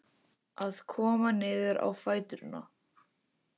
Að koma niður á fæturna